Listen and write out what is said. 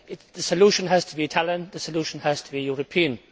the solution has to be Italian, the solution has to be European.